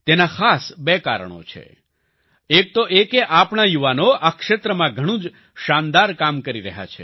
તેના ખાસ બે કારણો છે એક તો એ કે આપણા યુવાનો આ ક્ષેત્રમાં ઘણું જ શાનદાર કામ કરી રહ્યા છે